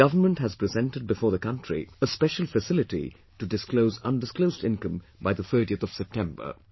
The government has presented before the country a special facility to disclose undisclosed income by the 30th of September